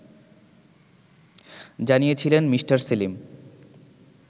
জানিয়েছিলেন মি. সেলিম